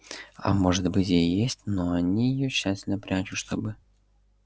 а может быть и есть но они её тщательно прячут чтобы